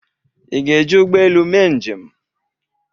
ị ga-eji ụgbọ elu mee njem?